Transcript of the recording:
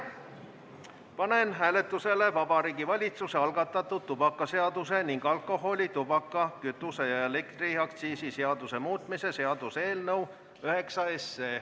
Panen hääletusele Vabariigi Valitsuse algatatud tubakaseaduse ning alkoholi-, tubaka-, kütuse- ja elektriaktsiisi seaduse muutmise seaduse eelnõu.